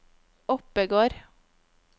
Oppegård